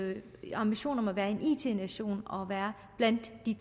ambitionen om at være en it nation og være blandt de